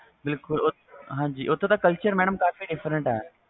ਬਿਲਕੁਲ ਓਥੋਂ culture mam different ਆ